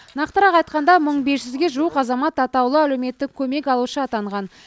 нақтырақ айтқанда мың бес жүзге жуық азамат атаулы әлеуметтік көмек алушы атанған